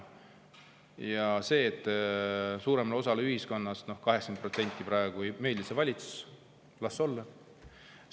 Ja see, et suuremale osale ühiskonnast, 80%-le praegu ei meeldi see valitsus – las olla!